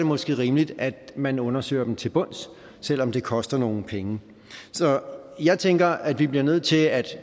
måske rimeligt at man undersøger dem til bunds selv om det koster nogle penge så jeg tænker at vi bliver nødt til at